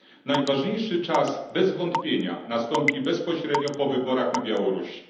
Najważniejszy czas bez wątpienia nastąpi bezpośrednio po wyborach na Białorusi.